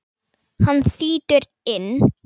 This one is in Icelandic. Hann þýtur inn.